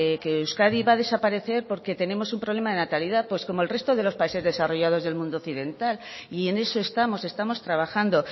que euskadi va a desaparecer porque tenemos un problema de natalidad pues como el resto de los países desarrollados del mundo occidental y en eso estamos estamos trabajando